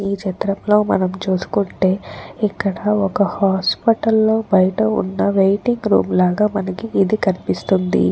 ఈ చిత్రంలో మనం చూసుకుంటే ఇక్కడ ఒక హాస్పెటల్ బయట ఉన్న వెయిటింగ్ రూమ్ లాగా మనకి ఇది కనిపిస్తోంది.